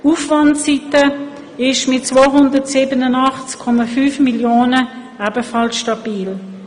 Die Aufwandseite ist mit 287,5 Mio. Franken ebenfalls stabil.